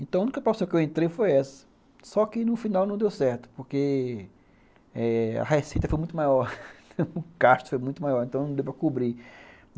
Então, a única possibilidade que eu entrei foi essa, só que no final não deu certo, porque eh a receita foi muito maior, o gasto foi muito maior, então não deu para cobrir.